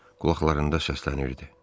Qulaqlarında səslənirdi.